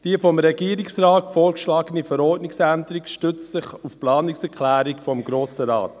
Die vom Regierungsrat vorgeschlagene Verordnungsänderung stützt sich auf die Planungserklärung des Grossen Rates.